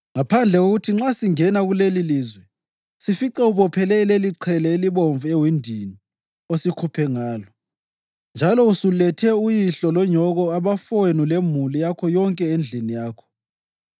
ngaphandle kokuthi nxa sesingena kulelilizwe sifice ubophele leliqhele elibomvu ewindini osikhuphe ngalo, njalo usulethe uyihlo lonyoko, abafowenu lemuli yakho yonke endlini yakho.